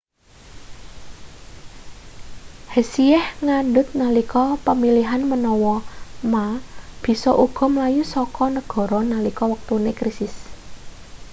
hsieh ngandhut nalika pemilihan menawa ma bisa uga mlayu saka negara nalika wektune krisis